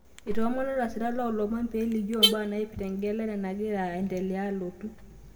Eitomoono lasirak loo lomon pee elikioo mbaa naipirta egelera nagira nagira alotu